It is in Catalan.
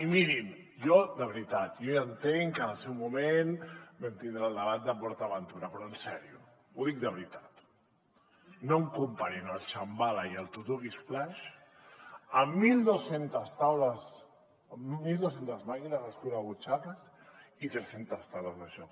i mirin jo de veritat ja entenc que en el seu moment vam tindre el debat de port aventura però en sèrio ho dic de veritat no em comparin el shambala i el tutuki splash amb mil dos cents màquines escurabutxaques i tres centes taules de joc